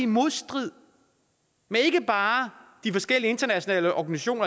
modstrid med ikke bare de forskellige internationale organisationer